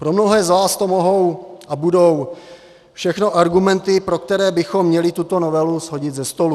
Pro mnohé z vás to mohou a budou všechno argumenty, pro které bychom měli tuto novelu shodit ze stolu.